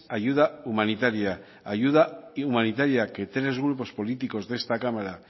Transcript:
ayuda humanitaria ayuda humanitaria que tres grupos políticos de esta cámara